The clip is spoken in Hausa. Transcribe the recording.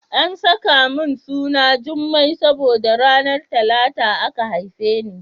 An saka min suna Jummai saboda ranar Talata aka haife ni.